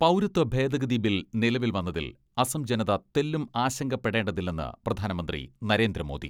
പൗരത്വ ഭേദഗതി ബിൽ നിലവിൽ വന്നതിൽ അസം ജനത തെല്ലും ആശങ്കപ്പെടേതില്ലെന്ന് പ്രധാനമന്ത്രി നരേന്ദ്രമോദി.